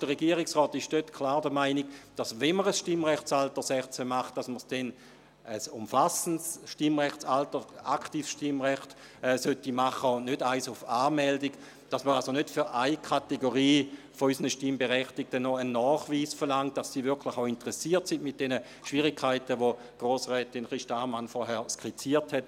Dort ist der Regierungsrat klar der Meinung, dass wenn man ein Stimmrechtsalter 16 macht, man ein umfassendes, aktives Stimmrecht machen sollte, und nicht eines auf Anmeldung, indem man von einer Kategorie unserer Stimmberechtigten noch einen Nachweis verlangt, dass sie wirklich auch interessiert ist, verbunden mit den Schwierigkeiten, welche Grossrätin Christa Ammann vorhin skizziert hat.